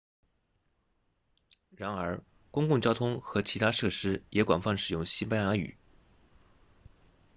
然而公共交通和其他设施也广泛使用西班牙语